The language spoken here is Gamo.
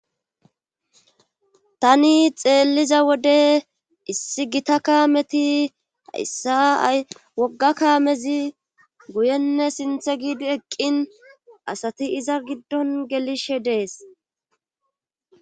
tani xeelliza wode issi gita kaameti hayssa ay wogga kaamezi guyenne sintha giidi eqqin asati iza giddon gelishe dees